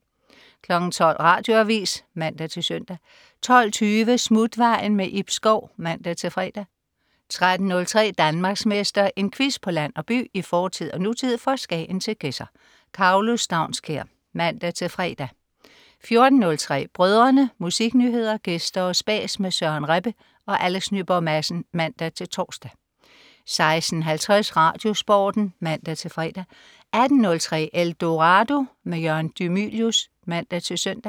12.00 Radioavis (man-søn) 12.20 Smutvejen. Ib Schou (man-fre) 13.03 Danmarksmester. En quiz på land og by, i fortid og nutid, fra Skagen til Gedser. Karlo Staunskær (man-fre) 14.03 Brødrene. Musiknyheder, gæster og spas med Søren Rebbe og Alex Nyborg Madsen (man-tors) 16.50 RadioSporten (man-fre) 18.03 Eldorado. Jørgen de Mylius (man-søn)